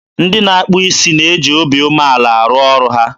ndị na-akpụ isi na-eji obi umeala arụ ọrụ ha.